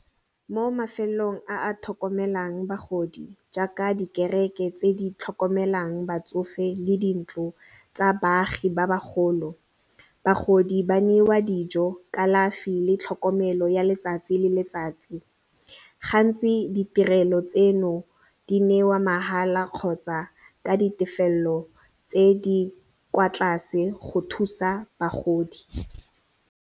Mo mafelong a a tlhokomelang bagodi jaaka dikereke tse di tlhokomelang batsofe le dintlo tsa baagi ba bagolo, bagodi ba neiwa dijo, kalafi le tlhokomelo ya letsatsi le letsatsi gantsi ditirelo tseno di neiwa mahala kgotsa ka ditefelelo tse di kwa tlase go thusa bagodi.